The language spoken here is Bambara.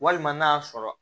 Walima n'a y'a sɔrɔ